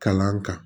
Kalan kan